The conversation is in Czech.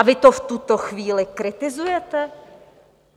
A vy to v tuto chvíli kritizujete?